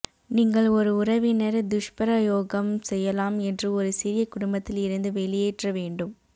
நீங்கள் ஒரு உறவினர் துஷ்பிரயோகம் செய்யலாம் என்று ஒரு சிறிய குடும்பத்தில் இருந்து வெளியேற்ற வேண்டும்